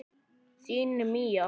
Þín Mía.